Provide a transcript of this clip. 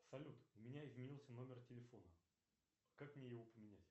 салют у меня изменился номер телефона как мне его поменять